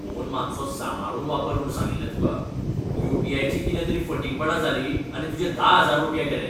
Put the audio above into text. Phone मात्सो सांबाळून वापर म्हूण सांगिल्लें तुका. यू.पी.आय. ची कितें तरी फटींगपणां जालीं आनी तुजें धा हजार रुपया गेले.